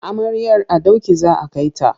Amaryar a doki za a kai ta.